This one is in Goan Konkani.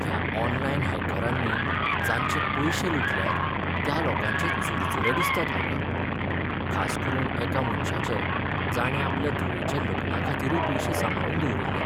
ह्या ऑनलायन हॅकरांनी जांचे पयशें लुटल्यात त्या लोकांचे चुरचुरें दिसतात म्हाका, खास करून एका मनशाचे जाणें आपले धुवेच्या लग्नाखातीरूय पयशें सांबाळून दवरिल्ले.